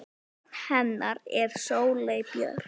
Barn hennar er Sóley Björk.